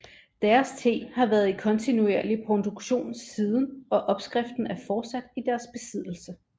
Deres te har været i kontinuerlig produktion siden og opskriften er fortsat i deres besiddelse